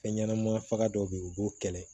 Fɛn ɲɛnama faga dɔw be yen u b'o kɛlɛ